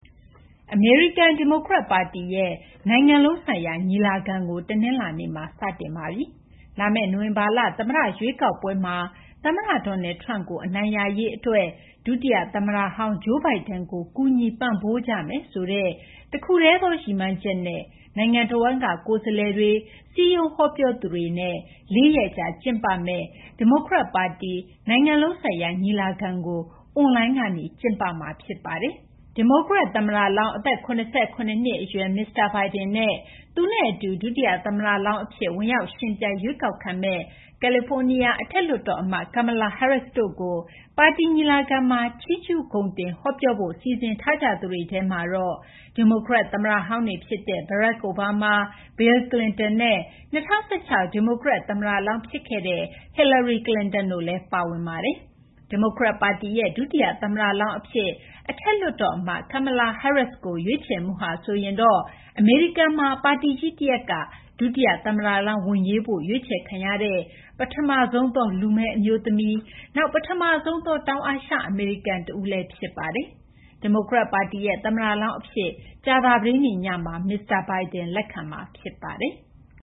အမေရိကန် ဒီမိုကရက် ပါတီရဲ့ နိုင်ငံလုံးဆိုင်ရာ ညီလာခံကို တနလာၤနေ့မှာ စတင်ပါပြီ။ လာမယ့် နိုဝင်ဘာလ သမ္မတ ရွေးကောက်ပွဲမှာ သမ္မတ Donald Trump ကို အနိုင်ရရေး အတွက် ဒုတိယ သမ္မတဟောင်း Joe Biden ကို ကူညီပံ့ပိုးကြမယ်ဆိုတဲ့ တခုတည်းသော ရည်မှန်းချက်နဲ့ နိုင်ငံတဝန်းက ကိုယ်စားလှယ်တွေ၊ စည်းရုံးဟောပြောသူတွေနဲ့ လေးရက်ကြာ ကျင်းပမယ့် ဒီမိုကရက် ပါတီ နိုင်ငံလုံးဆိုင်ရာ ညီလာခံကို အွန်လိုင်းကနေ ကျင်းပမှာ ဖြစ်ပါတယ်။ ဒီမိုကရက် သမ္မတလောင်း အသက် ၇၇ နှစ် အရွယ် မစ္စတာ Biden နဲ့ သူနဲ့ အတူ ဒုတိယ သမ္မတလောင်း အဖြစ် ဝင်ရောက် ယှဉ်ပြိုင် ရွေးကောက်ခံမယ့် ကယ်လီဖိုးနီးယား အထက်လွှတ်တော် အမတ် Kamala Harris တို့ကို ပါတီ ညီလာခံမှာ ချီးကျူး ဂုဏ်တင် ဟောပြောဖို့ စီစဉ်ထားသူတွေထဲမှာ ဒီမိုကရက် သမ္မတဟောင်းတွေ ဖြစ်တဲ့ Barack Obama ၊ Bill Clinton နဲ့ ၂၀၁၆ ဒီမိုကရက် သမ္မတလောင်း ဖြစ်ခဲ့တဲ့ Hillary Clinton တို့လည်း ပါဝင်ပါတယ်။ ဒီမိုကရက် ပါတီရဲ့ ဒုတိယ သမ္မတလောင်း အဖြစ် အထက်လွှတ်တော် အမတ် Kamala Harris ကို ရွေးချယ်မှုဟာဆိုရင်တော့ အမေရိကန်မှာ ပါတီကြီး တရပ်က ဒုတိယ သမ္မတလောင်း ဝင်ရွေးဖို့ ရွေးချယ်ခံရတဲ့ ပထမဆုံးသော လူမည်း အမျိုးသမီး၊ နောက် ပထမဆုံးသော တောင်အာရှ အမေရိကန် တဦးလည်း ဖြစ်ပါတယ်။ ဒီမိုကရက်ပါတီရဲ့ သမ္မတလောင်း အဖြစ် ကြာသပတေးနေ့ညမှာ မစ္စတာ Biden လက်ခံမှာ ဖြစ်ပါတယ်။